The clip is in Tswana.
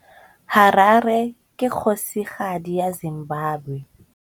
Harare ke kgosigadi ya Zimbabwe.